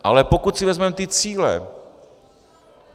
Ale pokud si vezmeme ty cíle.